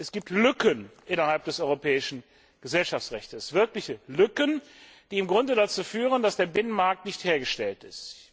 Es gibt Lücken innerhalb des europäischen Gesellschaftsrechts, wirkliche Lücken, die im Grunde dazu führen, dass der Binnenmarkt nicht hergestellt ist.